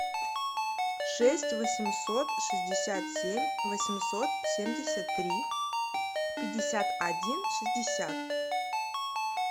шесть восемьсот шестьдесят семь восемьсот семьдесят три пятьдесят один шестьдесят